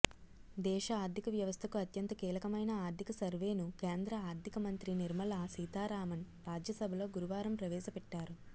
దేశ ఆర్థిక వ్యవస్థకు అత్యంత కీలకమైన ఆర్థిక సర్వేను కేంద్ర ఆర్థికమంత్రి నిర్మలా సీతారామన్ రాజ్యసభలో గురువారం ప్రవేశపెట్టారు